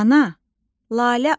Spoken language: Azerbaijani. Ana, Lalə al.